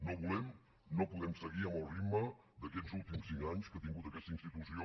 no volem no podem seguir amb el ritme d’aquests últims cinc anys que ha tingut aquesta institució